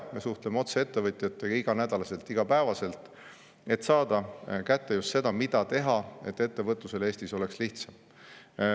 Me suhtleme otse ettevõtjatega iganädalaselt, igapäevaselt, et saada kätte just seda, mida teha, et ettevõtlusel Eestis oleks lihtsam.